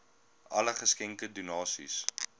alle geskenke donasies